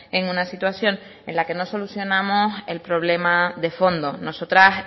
en una situación en la que no solucionamos el problema de fondo nosotras